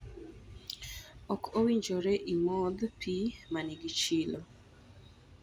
Ok owinjore imodh pi ma nigi chilo.